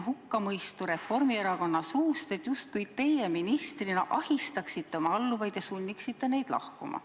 Kuuleme siin Reformierakonna suust hukkamõistu, justkui teie ministrina ahistaksite oma alluvaid ja sunniksite neid lahkuma.